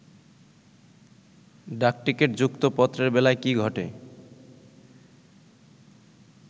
ডাকটিকিট যুক্ত পত্রের বেলায় কি ঘটে